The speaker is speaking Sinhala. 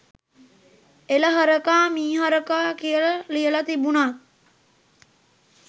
එල හරකා මීහරකා කියල ලියල තිබුනොත්